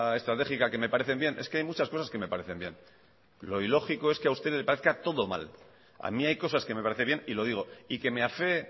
estratégica que me parecen bien es que hay muchas cosas que me parecen bien lo ilógico es que a usted le parezca todo bien a mí hay cosas que me parece bien y lo digo y que me afee